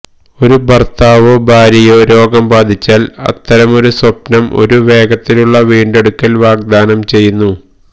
ഒരു ഭർത്താവോ ഭാര്യയോ രോഗം ബാധിച്ചാൽ അത്തരമൊരു സ്വപ്നം ഒരു വേഗത്തിലുള്ള വീണ്ടെടുക്കൽ വാഗ്ദാനം ചെയ്യുന്നു